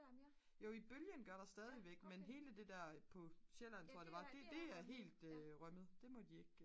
jo i bølgen gør der stadigvæk men hele det der på sjælland tror jeg det var det er helt rømmet det må de ikke